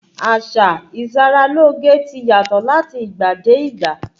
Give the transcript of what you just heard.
Àsá ìṣaralóge ti yàtọ̀ láti ìgbà dé ìgbà.